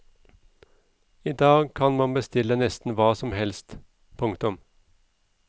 I dag kan man bestille nesten hva som helst. punktum